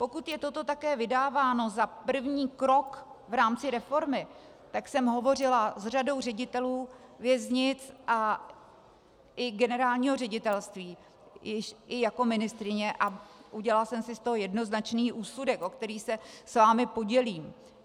Pokud je toto také vydáváno za první krok v rámci reformy, tak jsem hovořila s řadou ředitelů věznic a i generálního ředitelství i jako ministryně a udělala jsem si z toho jednoznačný úsudek, o který se s vámi podělím.